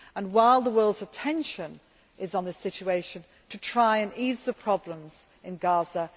while the world's attention is on the situation, to try and ease the problems in Gaza.